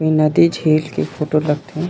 उन्नति झील के फोटो लग थे।